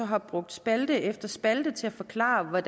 har brugt spalte efter spalte til at forklare